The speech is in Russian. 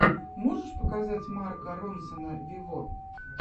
можешь показать марка ронсона вево